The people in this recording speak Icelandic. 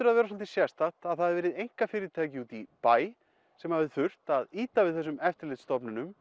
að vera svolítið sérstakt að það hafi verið einkafyrirtæki úti í bæ sem hafi þurft að ýta við þessum eftirlitsstofnunum